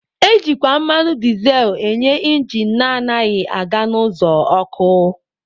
Ejikwa mmanụ dizel enye injin na-anaghị aga n'ụzọ ọkụ.